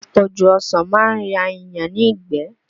Àpọ̀jù ọsàn máa ń ya èèyàn ní ìgbẹ́